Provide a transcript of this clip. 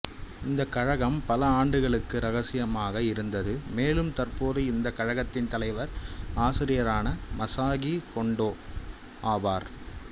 இந்த கழகம் பல ஆண்டுகளுக்கு இரகசியமாக இருந்தது மேலும் தற்போது இந்த கழகத்தின் தலைவர் ஆசிரியரான மசாகி கொண்டோ ஆவார்